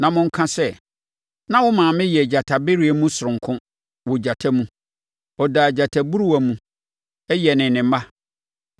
na monka sɛ: “ ‘Na wo maame yɛ gyatabereɛ mu soronko wɔ agyata mu! Ɔdaa gyataburuwa mu yɛnee ne mma.